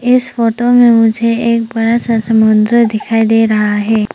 इस फोटो में मुझे एक बड़ा सा समुद्र दिखाई दे रहा है।